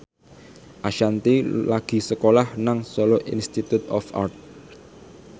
Ashanti lagi sekolah nang Solo Institute of Art